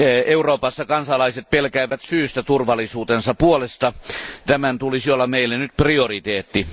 Euroopassa kansalaiset pelkäävät syystä turvallisuutensa puolesta. Tämän tulisi olla meille nyt prioriteetti.